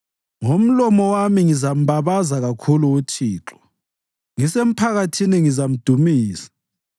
Ngomlomo wami ngizambabaza kakhulu uThixo; ngisemphakathini ngizamdumisa.